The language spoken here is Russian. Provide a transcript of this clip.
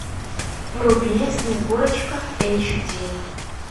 вруби снегурочка эйч ди